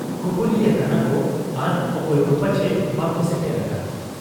ᱠᱩᱯᱩᱞᱤ ᱟᱠᱟᱱᱟᱠᱚ ᱟᱨ ᱚᱠᱚᱭ ᱠᱚ ᱯᱟᱪᱷᱮ ᱵᱟᱠᱚ ᱥᱮᱴᱮᱨ ᱟᱠᱟᱱ ᱾